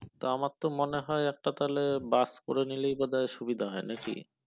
তা আমার তো মনে হয় একটা তাহলে বাস করে নিলেই বোধহয় সুবিধা হয় নাকি